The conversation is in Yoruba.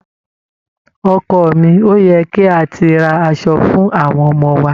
Ọkọ mi, ó yẹ kí a ti ra aṣọ fún àwọn ọmọ wa.